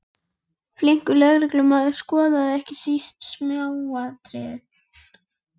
Flinkur lögreglumaður skoðar ekki síst smáatriðin.